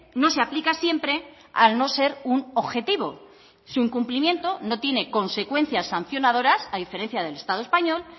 no se aplica siempre al no ser un objetivo su incumplimiento no tiene consecuencias sancionadoras a diferencia del estado español